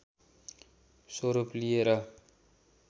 स्वरूप लिएर